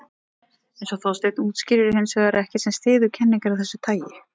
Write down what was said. Eins og Þorsteinn útskýrir er hins vegar ekkert sem styður kenningar af þessu tagi.